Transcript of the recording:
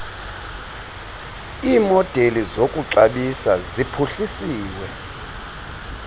iimodeli zokuxabisa ziphuhlisiwe